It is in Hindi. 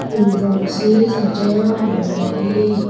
फूलों से सजा हुआ है।